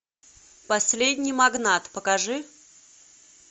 последний магнат покажи